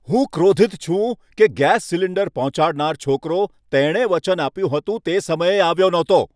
હું ક્રોધિત છું કે ગેસ સિલિન્ડર પહોંચાડનાર છોકરો તેણે જે વચન આપ્યું હતું તે સમયે આવ્યો નહોતો.